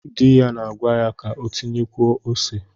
Di ya na-agwa ya ka o tinyekwuo ose.